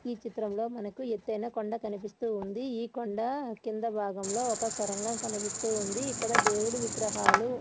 ఈ చిత్రంలో మనకు ఎత్తైన కొండగా కనిపిస్తూ ఉంది. ఈ కొండ కింద భాగంలో ఒక సొరంగం కనిపిస్తూ ఉంది. ఇక్కడ దేవుడి విగ్రహాలు--